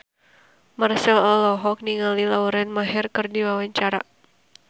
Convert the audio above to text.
Marchell olohok ningali Lauren Maher keur diwawancara